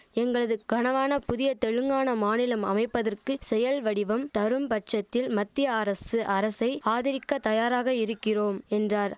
எங்களது கனவான புதிய தெலுங்கானா மாநிலம் அமைப்பதற்கு செயல் வடிவம் தரும் பட்சத்தில் மத்திய அரசு அரசை ஆதரிக்க தயாராக இரிக்கிறோம் என்றார்